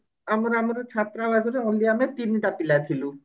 ଆମର ଆମର ଛାତ୍ରବାସର only ଆମେ ତିନିଟା ପିଲା ଥିଲୁ